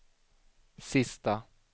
sista